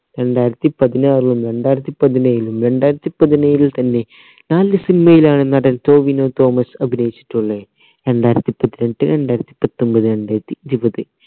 രണ്ടായിരത്തി പതിനാറിലും രണ്ടായിരത്തി പതിനേഴിലും രണ്ടായിരത്തി പതിനേഴിന് തന്നെ നാല് cinema യിലാണ് നടൻ ടോവിനോ തോമസ് അഭിനയിച്ചിട്ടുള്ളേ രണ്ടായിരത്തി പതിനെട്ട് രണ്ടായിരത്തി പത്തൊമ്പത് രണ്ടായിരത്തി ഇരുവത്